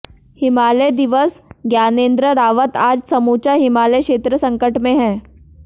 हिमालय दिवस ज्ञाानेन्द्र रावत आज समूचा हिमालय क्षेत्र संकट में है